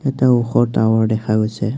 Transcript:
এটা ওখ টাৱাৰ দেখা গৈছে।